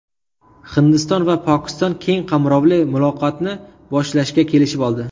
Hindiston va Pokiston keng qamrovli muloqotni boshlashga kelishib oldi.